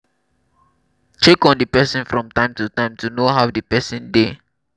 check on di person from time to time to know how di person dey